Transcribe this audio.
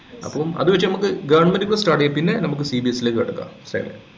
അപ്പൊ അതുവെച്ച് നമുക്ക് goverment ന്നു start ചെയ്യാം പിന്നെ നമുക്ക് CBSE ലേക്ക് കടക്കാം ല്ലെ